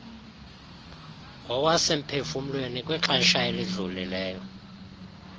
ngokwasemphefumlweni kwixesha elidlulileyo